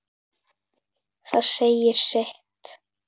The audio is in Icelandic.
Það segir sitt.